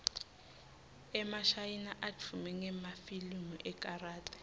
emashayina advume ngemafilimu ekarathi